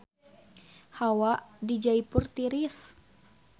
Hawa di Jaipur tiris